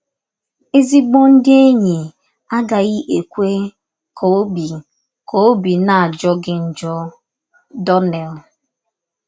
“ Ezịgbọ ndị enyi agaghị ekwe ka ọbi ka ọbi na - ajọ gị njọ. ”— Donnell.